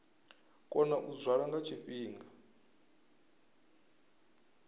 kona u dzwala nga tshifhinga